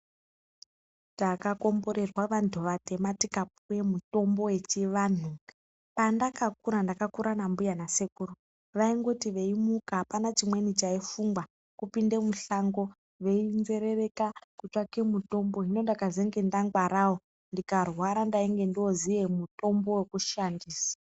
Taka komborerwa vantu vatema tika puwe mutombo yechi vanhu pandaka kura ndakakura na mbuya na sekuru vaingoti veimuka apana chimweni chai fungwa kupinde mushango vei nzerereka kutsvake mutombo hino ndaka zenge nda ngwarawo ndika rwara ndainge ndoziye mitombo weku shandisa.